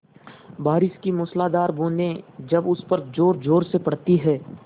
बारिश की मूसलाधार बूँदें जब उस पर ज़ोरज़ोर से पड़ती हैं